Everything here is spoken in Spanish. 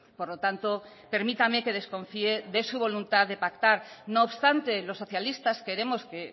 por lo tanto permítame que desconfíe de su voluntad de pactar no obstante los socialistas queremos que